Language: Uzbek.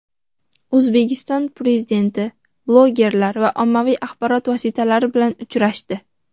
O‘zbekiston Prezidenti blogerlar va ommaviy axborot vositalari bilan uchrashdi.